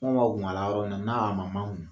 yɔrɔ n'a man makun.